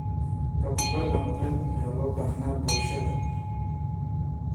Tababar nabadeed ayaa loo baahnaa bulshada.